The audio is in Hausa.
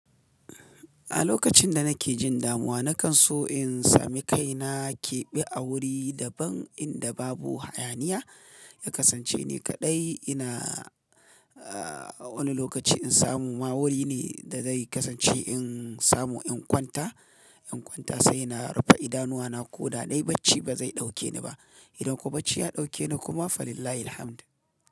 A lokacin da nake jin damuwa, na kan so in sami kaina keɓe a wuri daban inda babu hayaniya. Ya kasance ni kaɗai ina Wani lokaci in samu ma wuri ne da zai kasance in samu in kwanta, in kwanta sai na rufe idanuwa na. Ko da dai bacci ba zai ɗauke ni ba. Idan kuwa bacci ya ɗauke ni kuma fa lillahi alhamdu.